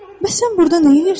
Bəs sən burda nə edirsən?